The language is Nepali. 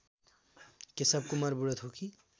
केशवकुमार बुढाथोकी